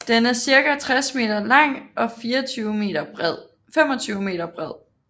Den er cirka 60 meter lang og 25 meter bred